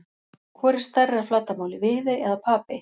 Hvor er stærri að flatarmáli, Viðey eða Papey?